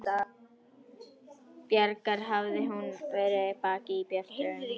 Bjargar hafði hún verið bein í baki og björt til augnanna.